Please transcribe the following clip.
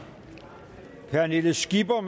pernille skipper